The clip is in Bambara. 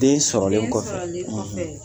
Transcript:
Den sɔrɔlen kɔfɛ den sɔrɔlen kɔfɛ